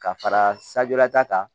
Ka fara sajala ta kan